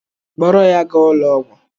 Kpọrọ ya gaa ụlọ ọgwụ!